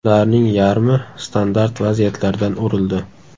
Ularning yarmi standart vaziyatlardan urildi.